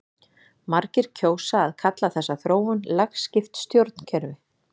margir kjósa að kalla þessa þróun lagskipt stjórnkerfi